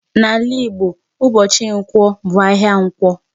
N'ala Igbo ụbọchị Nkwọ bụ ahịa Ǹkwọ.